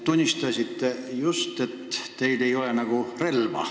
Tunnistasite just, et teil nagu ei ole arsenalis relva.